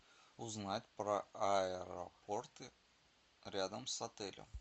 узнать про аэропорты рядом с отелем